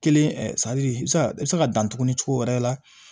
Kelen i bɛ se ka i bɛ se ka dan tuguni cogo wɛrɛ la